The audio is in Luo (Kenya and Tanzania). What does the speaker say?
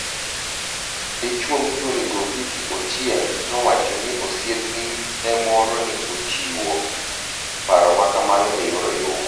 Dichuo miluonigo Vicky Ochienig nowacho nii osiepni e moro ni e ochiwo paro ma kamano e yor oyuma.